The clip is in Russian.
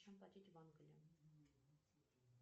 чем платить в англии